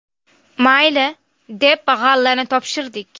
Mayli, deb g‘allani topshirdik.